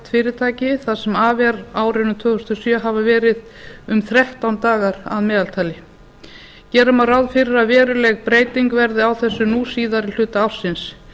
fyrirtæki það sem af er árinu tvö þúsund og sjö hafa verið um þrettán dagar að meðaltali gera má ráð fyrir að veruleg breyting verði á þessu nú síðari hluta ársins